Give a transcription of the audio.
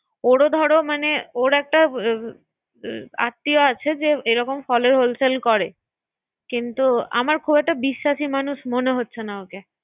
হ্যা ওরে ধরো মানে ওর -একটা আত্মীয় আছে যে যেরকম ফলের Hole sell করে। আচ্ছা কিন্তু আমার খুব একটা বিশ্বাসী মানুষ মনে হচ্ছে না ওকে।